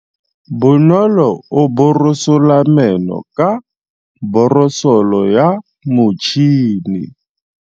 Bonolô o borosola meno ka borosolo ya motšhine.